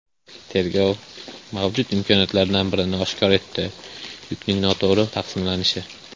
Tergov mavjud imkoniyatlardan birini oshkor etdi yukning noto‘g‘ri taqsimlanishi.